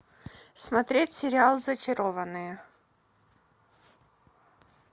смотреть сериал зачарованные